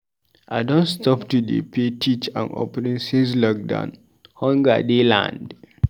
I don stop to dey pay tithe and offering since lockdown, hunger dey land.